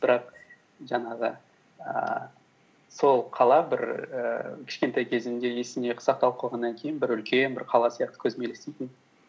бірақ жаңағы ііі сол қала бір ііі кішкентай кезімде есімде сақталып қалғаннан кейін бір үлкен бір қала сияқты көзіме елестейтін